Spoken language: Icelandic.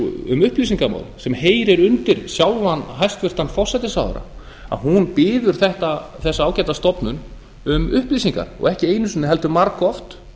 um upplýsingamál sem heyrir undir sjálfan hæstvirtur forsætisráðherra að hún biður þessa ágætu stofnun um upplýsingar og ekki einu sinni heldur margoft